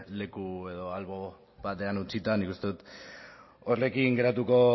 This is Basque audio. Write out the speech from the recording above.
leku edo albo batean utzita nik uste dut horrekin geratuko